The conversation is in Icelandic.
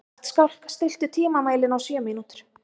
Gottskálk, stilltu tímamælinn á sjö mínútur.